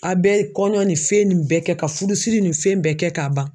A bɛ kɔɲɔ ni fɛn nin bɛɛ kɛ ka fudusiri ni fɛn nin bɛɛ kɛ k'a ban.